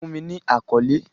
Fun mi ni akọle!